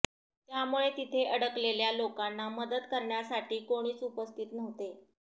त्यामुळे तिथे अडकलेल्या लोकांना मदत करण्यासाठी कोणीच उपस्थित नव्हते